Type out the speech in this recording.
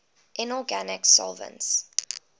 inorganic solvents